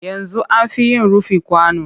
Yanzu an fi yin rufi kwano